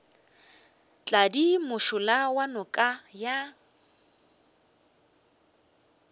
tladi mošola wa noka ya